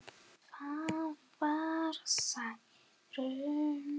Það var Særún.